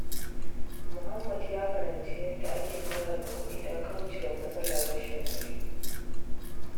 Muhammad ya karanci yadda ake sarrafa kuɗi don kauce wa matsalar rashin kuɗi.